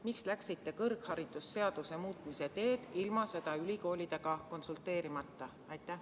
Miks te läksite kõrgharidusseaduse muutmise teed ilma ülikoolidega konsulteerimata?